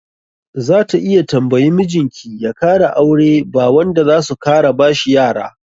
Za ta iya tambayi mijin ki ya kara aure ba wanda zasu kara bashi yara.